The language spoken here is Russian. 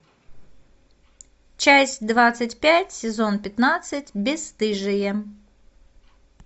часть двадцать пять сезон пятнадцать бесстыжие